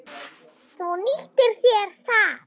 Þú nýttir þér það.